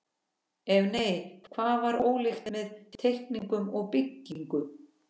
Ef nei, hvað var ólíkt með teikningum og byggingu?